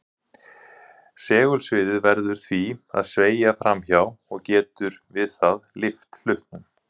Segulsviðið verður því að sveigja fram hjá og getur við það lyft hlutnum.